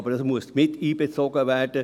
Aber es muss mit einbezogen werden.